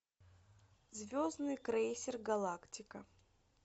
звездный крейсер галактика